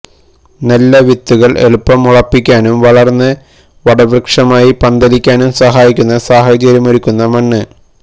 നല്ല വിത്തുകള് എളുപ്പം മുളപ്പിക്കാനും വളര്ന്ന് വടവൃക്ഷമായി പന്തലിക്കാനും സഹായിക്കുന്ന സാഹചര്യമൊരുക്കുന്ന മണ്ണ്